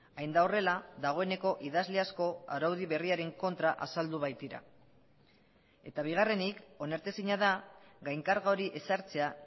hain da horrela dagoeneko idazle asko araudi berriaren kontra azaldu baitira eta bigarrenik onartezina da gainkarga hori ezartzea